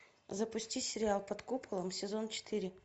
запусти сериал под куполом сезон четыре